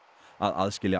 að aðskilja